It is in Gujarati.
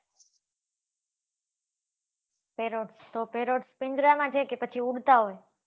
Perot તો peroth પિંજરામાં માં છે કે ઉડતા હોય